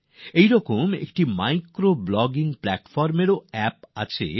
এইভাবে একটি micro blogging platform এর অ্যাপও তৈরী হয়েছে